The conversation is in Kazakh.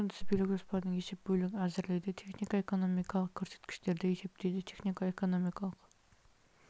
күнтізбелік жоспардың есеп бөлігін әзірлейді технико экономикалық көрсеткіштерді есептейді технико экономикалық